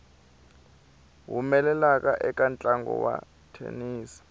humelela eka ntlangu wa thenisi